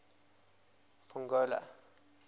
pongola